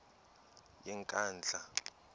yenkandla